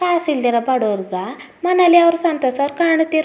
ಕಾಸ್ ಇಲ್ಲದಿರೋ ಬಡೋರ್ ಗ ಮನೇಲಿ ಅವ್ರು ಸಂತೋಷ ಅವ್ರ್ ಕಾಣ್ ತ್ತಿರು --